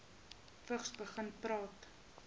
vigs begin praat